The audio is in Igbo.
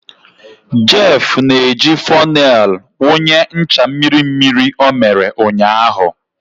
Jeff na-eji fonel wụnye ncha mmiri mmiri ọ mere ụnyaahụ.